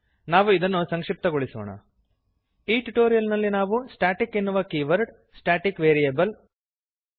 ನಾವು ಇದನ್ನು ಸಂಕ್ಷಿಪ್ತಗೊಳಿಸೋಣ ಈ ಟ್ಯುಟೋರಿಯಲ್ ನಲ್ಲಿ ನಾವು ಸ್ಟಾಟಿಕ್ ಎನ್ನುವ ಕೀವರ್ಡ್ ಸ್ಟ್ಯಾಟಿಕ್ ವೇರಿಯಬಲ್ ಉದಾ